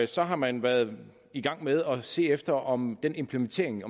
så har man været i gang med at se efter om den implementering